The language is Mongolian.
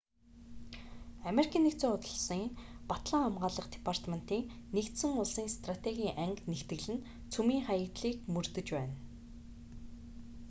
ану-ын батлан хамгаалах департементийн нэгдсэн улсын стратегийн анги нэгтгэл нь цөмийн хаягдлыг мөрдөж байна